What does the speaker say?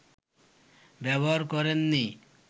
ব্যবহার করেন নি